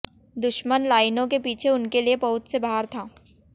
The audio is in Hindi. दुश्मन लाइनों के पीछे उनके लिए पहुंच से बाहर था